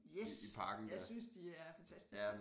Yes jeg synes de er fantastiske